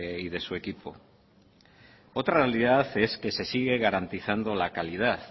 y de su equipo otra realidad es que se sigue garantizando la calidad